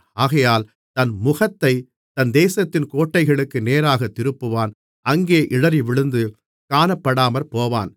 ஆகையால் தன் முகத்தைத் தன் தேசத்தின் கோட்டைகளுக்கு நேராகத் திருப்புவான் அங்கே இடறிவிழுந்து காணப்படாமற்போவான்